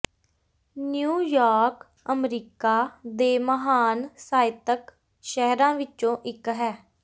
New York America ਦੇ ਮਹਾਨ ਸਾਹਿਤਕ ਸ਼ਹਿਰਾਂ ਵਿੱਚੋਂ ਇੱਕ ਹੈ